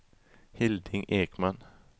Hilding Ekman